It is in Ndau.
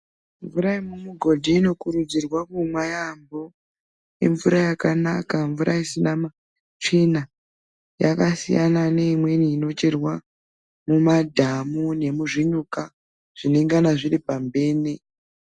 Mvura yemumugodhi inokurudzirwa kumwa yambo imvura yakanaka mvura isina tsvina yakasiyana neimweni inocherwa mumadhamu nemuzvinyuka zvinengana zviripambene.